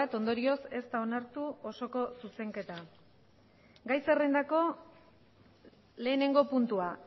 ondorioz ez da onartu osoko zuzenketa gai zerrendako lehenengo puntua